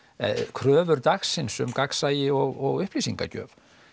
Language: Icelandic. kröfur dagsins um gagnsæi og upplýsingagjöf